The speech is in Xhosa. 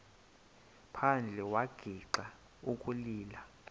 phandle wagixa ukulila